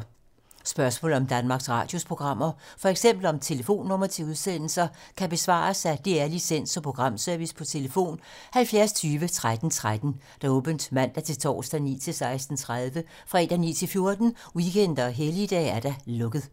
Spørgsmål om Danmarks Radios programmer, f.eks. om telefonnumre til udsendelser, kan besvares af DR Licens- og Programservice: tlf. 70 20 13 13, åbent mandag-torsdag 9.00-16.30, fredag 9.00-14.00, weekender og helligdage: lukket.